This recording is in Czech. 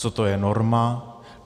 Co to je norma?